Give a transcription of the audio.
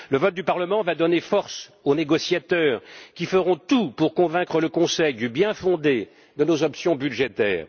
Le vote du Parlement va donner force aux négociateurs qui feront tout pour convaincre le Conseil du bien fondé de nos options budgétaires.